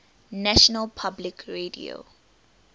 national public radio